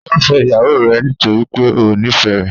Ṣe o fẹ iyawo rẹ nitori pe o nifẹ rẹ?